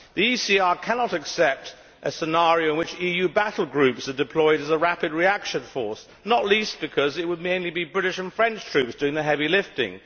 The ECR cannot accept a scenario in which EU battle groups are deployed as a rapid reaction force, not least because it would mainly be British and French troops doing the heavy lifting.